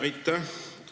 Aitäh!